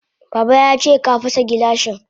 Baba yace ka fasa gilashin.